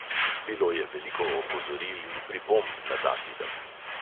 Bilo je veliko opozoril in pripomb na ta film.